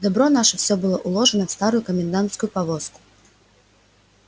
добро наше всё было уложено в старую комендантскую повозку